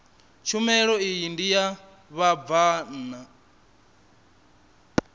tshumelo iyi ndi ya vhabvann